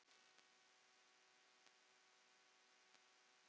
Hvernig er umferðin Lillý?